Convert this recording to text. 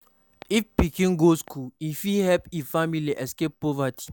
If pikin go school, e fit help e family escape poverty.